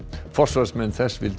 forsvarsmenn þess vildu